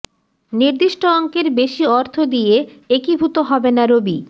নির্দিষ্ট অঙ্কের বেশি অর্থ দিয়ে একীভূত হবে না রবি